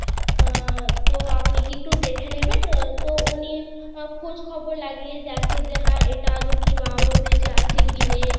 আহ তো আপনি কি একটু দেখে নেবেন আহ তো উনি খোঁজ খবর লাগিয়ে দেখে যে এটা আদৌ কি না বেচে আছে কি নেই;